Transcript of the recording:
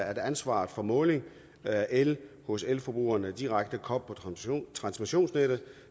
at ansvaret for måling af el hos elforbrugerne direkte koblet på transmissionsnettet